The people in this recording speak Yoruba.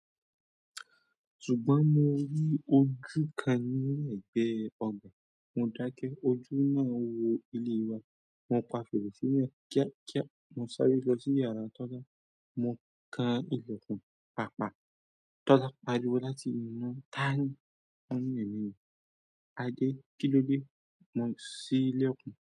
Ṣùgbọ́n mo rí ojú kan ní ẹ̀gbẹ́ ọgbà. Mo dákẹ́, ojú náà wo ilé wa. Mo pa fèrèsé náà kíá, kíá. Mo sáré lọ sí yàrá Tọ́sá, mo kan ilẹ̀kùn, pa pa. Tọla pariwo láti inú "tááni" mo ni "èmi ni", Adé kilode, mo si l'ẹkun.